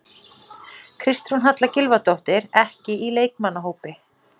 Kristrún Halla Gylfadóttir, ekki í leikmannahópi